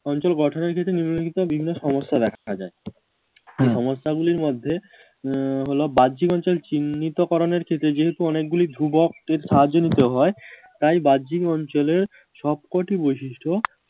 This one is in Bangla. অঞ্চল গঠনের ক্ষেত্রে নিম্নলিখিত বিভিন্ন সমস্যা দেখা যায় এই সমস্যা গুলির মধ্যেউম হলো বাহ্যিক অঞ্চল চিহ্নিত করণের ক্ষেত্রে যেহেতু অনেক গুলি ধ্রুবকের সাহায্য দিতে হয় তাই বাহ্যিক অঞ্চলের সবকটি বৈশিষ্ট্য